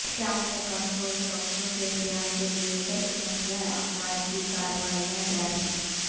شام میں کنٹرول چوکیوں کے قیام کے لئے ترک مسلح افواج کی کاروائیاں جاری